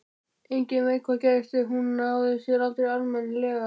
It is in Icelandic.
Enginn veit hvað gerðist en hún náði sér aldrei almennilega.